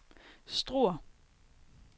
Struer